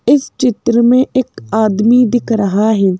इस चित्र में एक आदमी दिख रहा है।